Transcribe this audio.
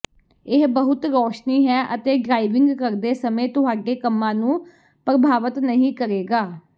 ਇਹ ਬਹੁਤ ਰੌਸ਼ਨੀ ਹੈ ਅਤੇ ਡਰਾਇਵਿੰਗ ਕਰਦੇ ਸਮੇਂ ਤੁਹਾਡੇ ਕੰਮਾਂ ਨੂੰ ਪ੍ਰਭਾਵਤ ਨਹੀਂ ਕਰੇਗਾ